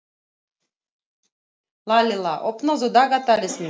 Lalíla, opnaðu dagatalið mitt.